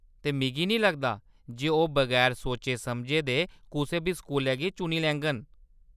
ते मिगी नेईं लगदा जे ओह्‌‌ बगैर सोचे समझे दे कुसै बी स्कूलै गी चुनी लैङन।